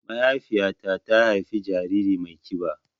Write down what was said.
Mahaifiƴa ta ta haifa jariri mai kiɓa